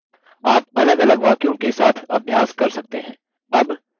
आप अलगअलग वाक्यों के साथ अभ्यास कर सकते हैं